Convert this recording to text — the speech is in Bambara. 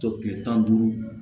Tɔ tile tan duuru